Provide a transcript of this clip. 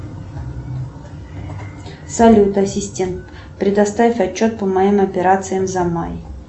салют ассистент предоставь отчет по моим операциям за май